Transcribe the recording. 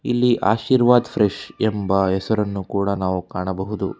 ಇಲ್ಲಿ ಆಶೀರ್ವಾದ್ ಫ್ರೆಶ್ ಎಂಬ ಹೆಸರನ್ನು ಕೂಡ ನಾವು ಕಾಣಬಹುದು.